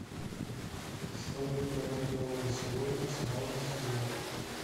салют продать доллары сегодня цена в москве